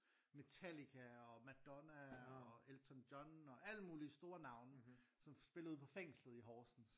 Metallica og Madonna og Elton John og alle mulige store navne som spillede på fængslet i Horsens